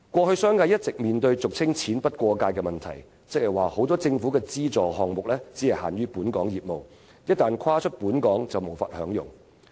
商界過去一直面對俗稱"錢不過界"的問題，即多項政府資助項目只限於本港業務，一旦跨出香港便無法享用。